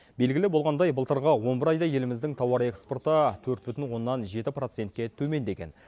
белгілі болғандай былтырғы он бір айда еліміздің тауар экспорты төрт бүтін оннан жеті процентке төмендеген